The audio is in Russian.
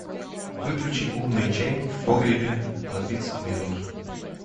выключи умный чайник в погребе на тридцать минут